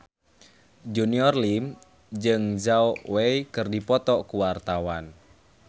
Junior Liem jeung Zhao Wei keur dipoto ku wartawan